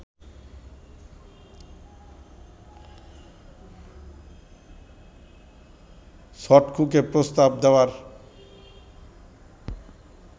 ছটকুকে প্রস্তাব দেওয়ার